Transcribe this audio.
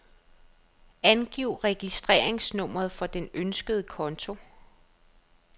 Angiv registreringsnummeret for den ønskede konto.